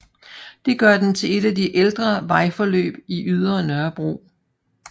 Det gør den til et af de ældre vejforløb på Ydre Nørrebro